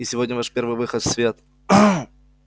и сегодня ваш первый выход в свет